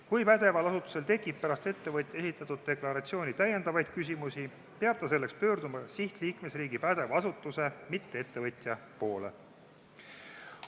Kui pädeval asutusel tekib pärast ettevõtja esitatud deklaratsiooni täiendavaid küsimusi, peab ta selleks pöörduma sihtliikmesriigi pädeva asutuse, mitte ettevõtja poole.